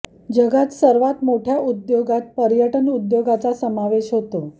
जगात सर्वात मोठ्या उद्योगांत पर्यटन उद्योगाचा समावेश होतो